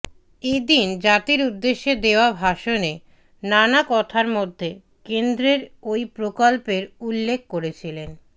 এ দিন জাতির উদ্দেশে দেওয়া ভাষণে নানা কথার মধ্যে কেন্দ্রের ওই প্রকল্পের উল্লেখ করেছিলেন